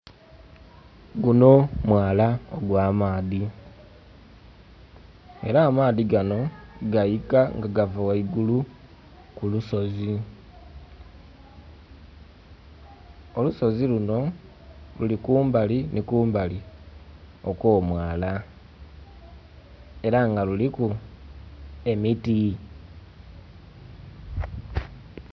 Guno mwala ogw'amaadhi era amaadhi gano gaika nga gava ghaigulu kulusozi. Olusozi luno luli kumbali ni kumbali okw'omwala era nga luliku emiti.